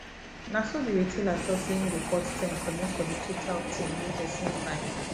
na him the retailer talk say him go cut ten commot from the total thing wey person buy